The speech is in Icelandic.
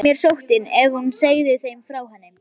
Elnaði mér sóttin, ef hún segði þeim frá henni?